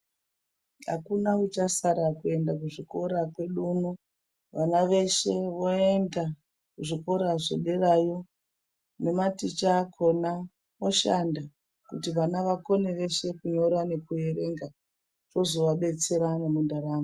Akuna uchasara kuenda kuchikora kwedu uno. Vana veshe voenda kuzvikora zvederayo. Nematicha akhona oshanda, kuti vana vakone veshe kunyora nekuerenga, zvozovabatsirawo mundaramo.